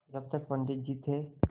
जब तक पंडित जी थे